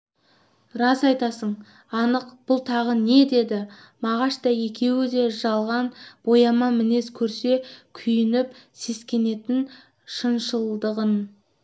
рас айтасың анық бұлтағы деді мағаш та екеуі де жалған бояма мінез көрсе күйініп сескенетін шыншылдығын